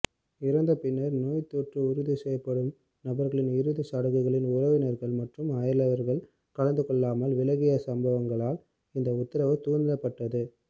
இறந்தபின்னர் நோய்த்தொற்று உறுதிசெய்யப்படும் நபர்களின் இறுதிச் சடங்குகளில் உறவினர்கள் மற்றும் அயலவர்கள் கலந்துகொள்ளாமல் விலகிய சம்பவங்களால் இந்த உத்தரவு தூண்டப்பட்டது